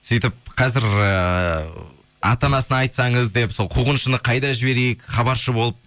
сөйтіп қазір ыыы ата анасына айтсаңыз деп сол қуғыншыны қайда жіберейік хабаршы болып